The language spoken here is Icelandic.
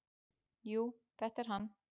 """Jú, þetta er hann."""